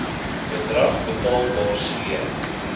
bedrag betaalbaar c